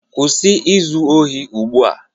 Kwụsị izu ohi ozugbo!